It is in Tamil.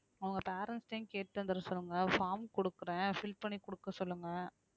அவங்க parents ட்டையும் கேட்டுத்தான் தர சொல்லுங்க form குடுக்குறேன் fill பண்ணி குடுக்க சொல்லுங்க